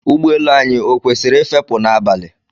Ụgbọ elu anyị ọ kwesịrị ị fepụ n'abalị?